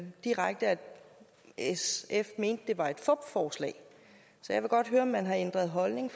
sf mente at det var et fupforslag så jeg vil godt høre om man har ændret holdning